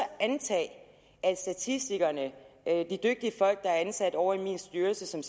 antage at statistikerne de dygtige folk der er ansat ovre i min styrelse som